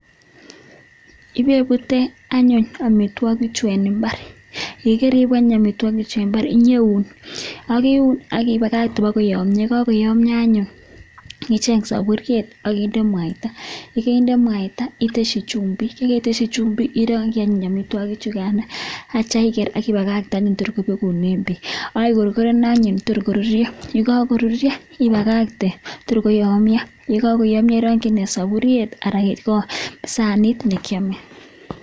ipepute anyuun amitwagik chutok eng imbar iuun ak ibakatee atatye indee mwaitaaaa akikorkoren akindee koyamnyaaaa akiaaam komnyeeeee eng imbar